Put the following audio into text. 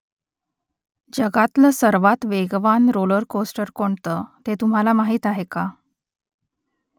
जगातलं सर्वात वेगवान रोलर कोस्टर कोणतं ते तुम्हाला माहीत आहे का ?